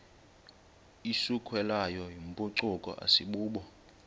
isukelwayo yimpucuko asibubo